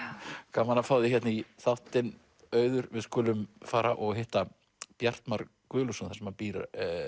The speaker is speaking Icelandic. gaman að fá þig hérna í þáttinn Auður við skulum fara og hitta Bjartmar Guðlaugsson þar sem hann býr